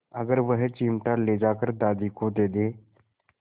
अगर वह चिमटा ले जाकर दादी को दे दे